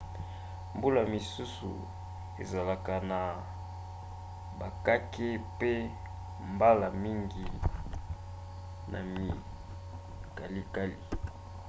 mbula misusu ezalaka na bakake mpe mbala mingi na mikalikali